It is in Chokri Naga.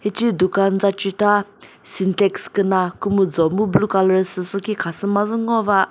ce dukan za chita syntax küna kümüjo mu blue colour süsü khi khasü mazü ngova.